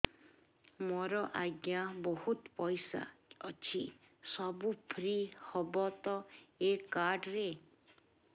ମୋର ଆଜ୍ଞା ବହୁତ ପଇସା ଅଛି ସବୁ ଫ୍ରି ହବ ତ ଏ କାର୍ଡ ରେ